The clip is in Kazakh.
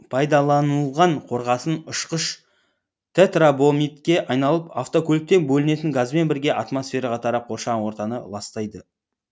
пайдаланылған қорғасын ұшқыш тетрабромидке айналып автокөліктен бөлінетін газбен бірге атмосфераға тарап қоршаған ортаны ластайды